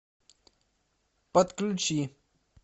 подключи